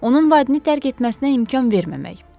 Onun vadini tərk etməsinə imkan verməmək.